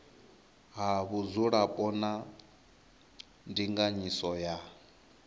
ha vhudzulapo na ndinganyiso ya